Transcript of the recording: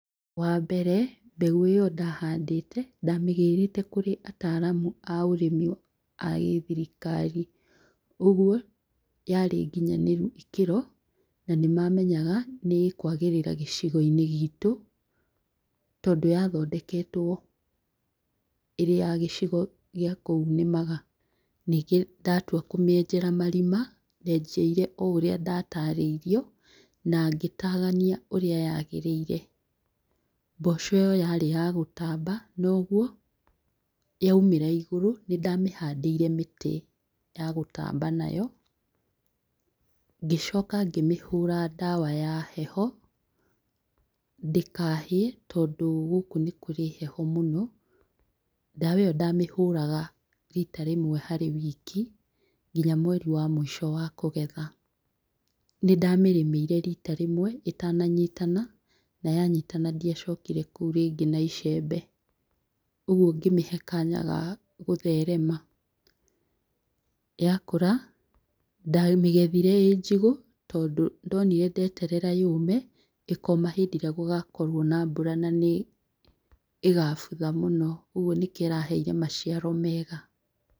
Wa mbere mbegũ ĩyo ndahandĩte ndamĩgĩrĩte kũrĩ ataramu a ũrĩmi agĩ thirikari ũguo yarĩ nginyanĩru ikĩro nanĩ mamenyaga nĩ ĩkwagĩrĩra gĩcigo-inĩ gitũ tondũ ya thondeketwo ĩrĩ ya gĩcigo gĩa kũu nĩmaga, ningĩ ndatua kũmĩenjera marima, ndenjeire o ũrĩa ndataraĩirio na ngĩtagania ũrĩa ya gĩrĩire, mboco ĩyo yarĩ ya gũtamba noguo ya umĩra igũrũ nĩndamĩhandĩire mĩtĩ ya gũtamba nayo ngĩcoka ngĩmĩhũra ndawa ya heho ndĩkahĩe tondũ gũkũ nĩ kũrĩ heho mũno, ndawa ĩyo ndamĩhũraga rita rĩmwe harĩ wiki nginya mweri wa mũico wa kũgetha, nĩ ndamĩrĩmĩire rita rĩmwe ĩtana nyitana naya nyitana ndia cokire kũu rĩngĩ na icembe, ũguo ngĩmĩhe kanya ga gũtherema, ya kũra ndamĩgethire ĩĩ njigũ tondũ nĩ ndonire ndererera yũme ĩkoma hĩndĩ ĩrĩa gũgakorwo na mbura na nĩ ĩgabutha mũno ũguo nĩkio ĩraheire maciaro mega.